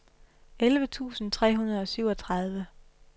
elleve tusind tre hundrede og syvogtredive